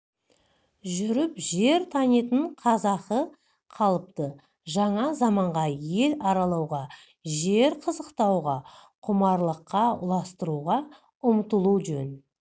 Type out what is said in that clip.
жүріп жер танитын қазақы қалыпты жаңа заманда ел аралауға жер қызықтауға құмарлыққа ұластыруға ұмтылу жөн